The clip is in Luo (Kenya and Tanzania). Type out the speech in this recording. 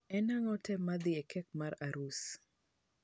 en ango te madhi e kek mar arus